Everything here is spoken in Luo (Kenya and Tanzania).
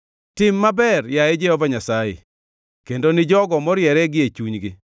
Tim maber, yaye Jehova Nyasaye, kendo ni jogo moriere gie chunygi.